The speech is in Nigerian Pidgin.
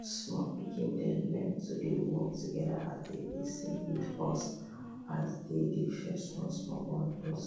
small pikin dem learn to dey work together as dem dey sing with us as dem dey fetch small small bundles